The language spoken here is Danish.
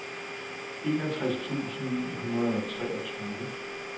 enogtres tusind ni hundrede og treogtyve